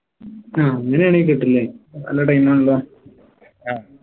അഹ് അങ്ങനെയാണെൽ കിട്ടൂല്ലേ നല്ല time ആണല്ലോ